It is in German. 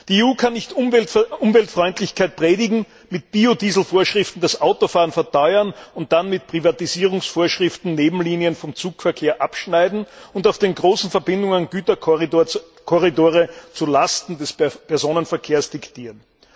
Die EU kann nicht Umweltfreundlichkeit predigen, mit Biodieselvorschriften das Autofahren verteuern und dann mit Privatisierungsvorschriften Nebenlinien vom Zugverkehr abschneiden und auf den großen Verbindungen Güterkorridore zulasten des Personenverkehrs diktieren.